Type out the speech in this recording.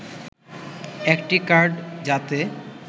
একটি কার্ড যাতে